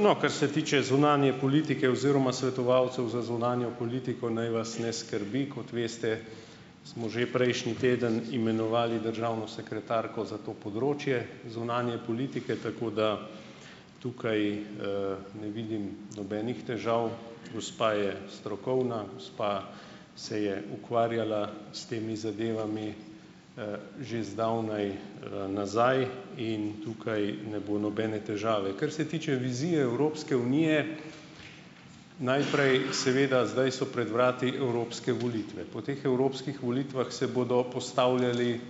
no, kar se tiče zunanje politike oziroma svetovalcev za zunanjo politiko, naj vas ne skrbi. Kot veste, smo že prejšnji teden imenovali državno sekretarko za to področje zunanje politike, tako da, tukaj, ne vidim nobenih težav. Gospa je strokovna, gospa se je ukvarjala s temi zadevami, že zdavnaj, nazaj in tukaj ne bo nobene težave. Kar se tiče vizije Evropske unije, najprej seveda, zdaj so pred vrati evropske volitve. Po teh evropskih volitvah se bodo postavljali,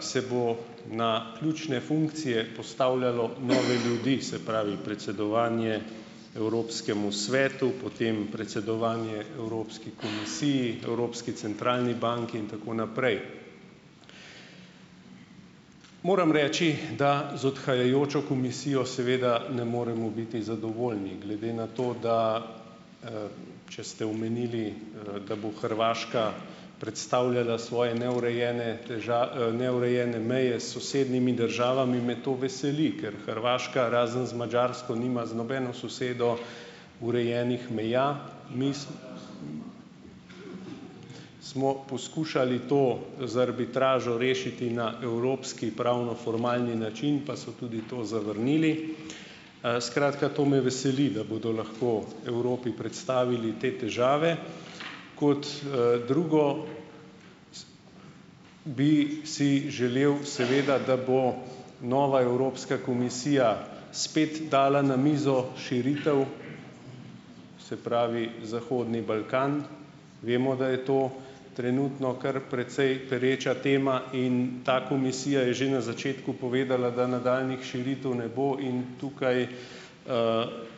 se bo na ključne funkcije postavljalo nove ljudi, se pravi, predsedovanje Evropskemu svetu, potem predsedovanje Evropski komisiji , Evropski centralni banki in tako naprej. Moram reči, da z odhajajočo komisijo seveda ne moremo biti zadovoljni glede na to, da, če ste omenili, da bo Hrvaška predstavljala svoje neurejene neurejene meje s sosednjimi državami, me to veseli, ker Hrvaška razen z Madžarsko nima z nobeno sosedo urejenih meja. Smo poskušali to z arbitražo rešiti na evropski pravnoformalni način pa so tudi to zavrnili. skratka, to me veseli, da bodo lahko Evropi predstavili te težave. Kot, drugo bi si želel, seveda, da bo nova Evropska komisija spet dala na mizo širitev, se pravi, zahodni Balkan vemo, da je to trenutno, kar precej pereča tema in ta komisija je že na začetku povedala, da nadaljnjih širitev ne bo in tukaj,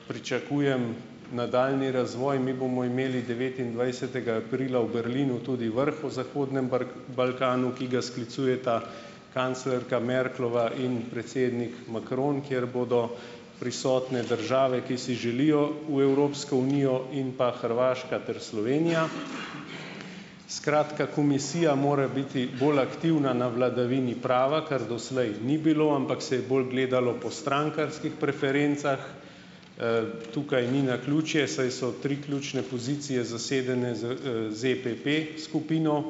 pričakujem nadaljnji razvoj. Mi bomo imeli devetindvajsetega aprila v Berlinu tudi vrh o zahodnem Balkanu, ki ga sklicujeta kanclerka Merklova in predsednik Macron, kjer bodo prisotne države, ki si želijo v Evropsko unijo in pa Hrvaška ter Slovenija. Skratka, komisija mora biti bolj aktivna na vladavini prava, ker doslej ni bilo, ampak se je bolj gledalo po strankarskih preferencah. tukaj ni naključje, saj so tri ključne pozicije zasedene z, EPP-skupino.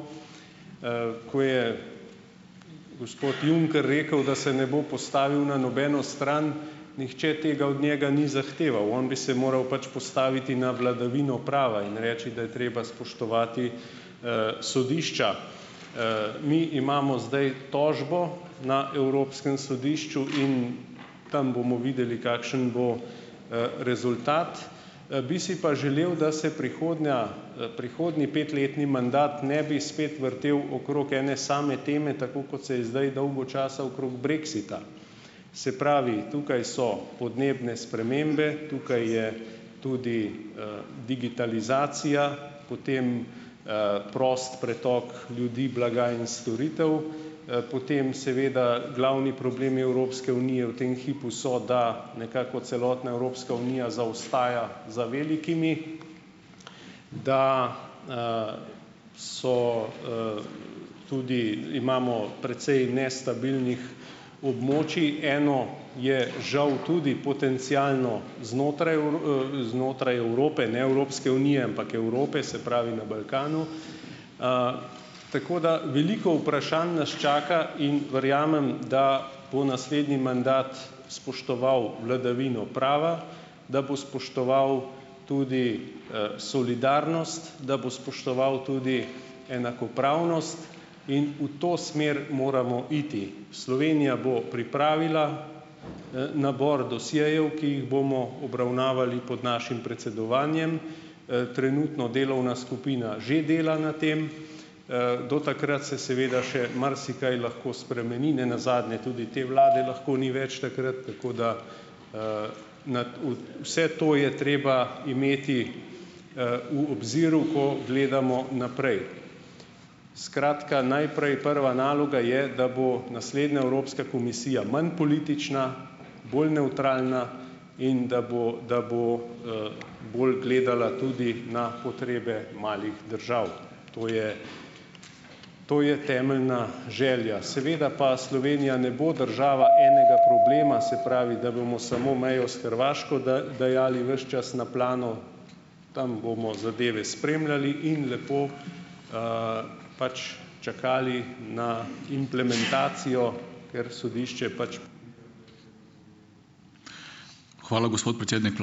ko je gospod Juncker rekel, da se ne bo postavil na nobeno stran, nihče tega od njega ni zahteval, on bi se moral pač postaviti na vladavino prava in reči, da je treba spoštovati, sodišča. mi imamo zdaj tožbo na Evropskem sodišču in tam bomo videli, kakšen bo, rezultat. bi si pa želel, da se prihodnja, prihodnji petletni mandat ne bi spet vrtel okrog ene same teme, tako kot se je zdaj dolgo časa okrog brexita. Se pravi, tukaj so podnebne spremembe, tukaj je tudi, digitalizacija, potem, prost pretok ljudi, blaga in storitev, potem seveda glavni problem Evropske unije v tem hipu so, da nekako celotna Evropska unija zaostaja za velikimi, da, so, tudi imamo precej nestabilnih območij. Eno je žal tudi potencialno znotraj znotraj Evrope, ne Evropske unije, ampak Evrope, se pravi, na Balkanu, tako da, veliko vprašanj nas čaka in verjamem, da bo naslednji mandat spoštoval vladavino prava, da bo spoštoval tudi, solidarnost, da bo spoštoval tudi enakopravnost in v to smer moramo iti. Slovenija bo pripravila, nabor dosjejev, ki jih bomo obravnavali pod našim predsedovanjem. Trenutno delovna skupina že dela na tem. do takrat se seveda še marsikaj lahko spremeni, nenazadnje tudi te vlade lahko ni več takrat tako, da, nad vse to je treba imeti, v obziru, ko gledamo naprej. Skratka, najprej prva naloga je, da bo naslednja Evropska komisija manj politična, bolj nevtralna, in da bo, da bo, bolj gledala tudi na potrebe malih držav. To je to je temeljna želja. Seveda pa Slovenija ne bo država enega problema, se pravi, da bomo samo mejo s Hrvaško dajali ves čas na plano. Tam bomo zadeve spremljali in lepo, pač čakali ne implementacijo , ker sodišče pač ... Hvala, gospod predsednik ...